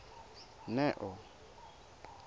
neo